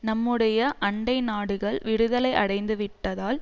நம்முடைய அண்டை நாடுகள் விடுதலை அடைந்துவிட்டதால்